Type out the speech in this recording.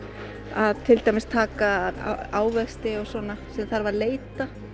að til dæmis að taka ávexti og svona sem þarf að leita